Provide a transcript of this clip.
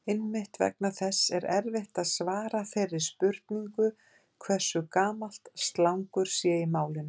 Einmitt vegna þess er erfitt að svara þeirri spurningu hversu gamalt slangur sé í málinu.